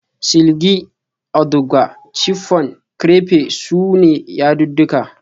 Silki, auduga, chiffon, crepe su ne yadudduka